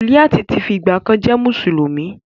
Suliat ti fi ìgbàkan jẹ́ mùsùlùmí.